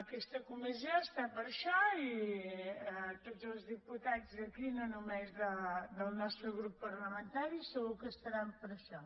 aquesta comissió està per això i tots els diputats d’aquí no només del nostre grup parlamentari segur que estaran per això